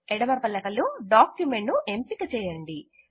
ఎడమ పలక లో డాక్యుమెంట్ ను ఎంపిక చేయండి